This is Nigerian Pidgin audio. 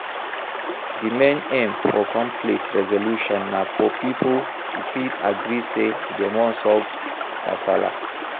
Di main aim for conflict resolution na for pipo to fit agree sey dem wan solve kasala